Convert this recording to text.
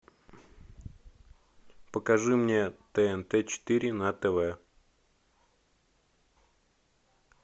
покажи мне тнт четыре на тв